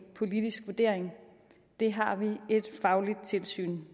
politisk vurdering det har vi et fagligt tilsyn